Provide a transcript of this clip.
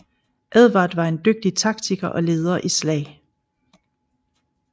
Edvard var en dygtig taktikker og leder i slag